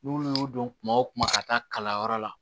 N'olu y'o dɔn kuma o kuma ka taa kalanyɔrɔ la